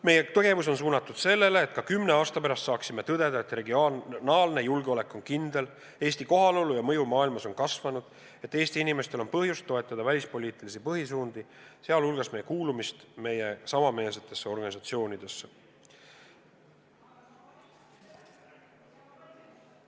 Meie tegevus on suunatud sellele, et ka kümne aasta pärast saaksime tõdeda, et regionaalne julgeolek on kindel, Eesti kohaolu ja mõju maailmas on kasvanud ning et Eesti inimestel on põhjust toetada välispoliitilisi põhisuundi, sh meie kuulumist meiega samameelsetesse organisatsioonidesse.